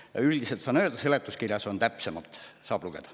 Niimoodi üldiselt saan selgitada, seletuskirjas on täpsemalt öeldud, sealt saab lugeda.